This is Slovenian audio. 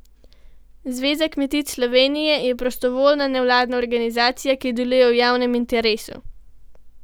Zveza kmetic Slovenije je prostovoljna, nevladna organizacija, ki deluje v javnem interesu.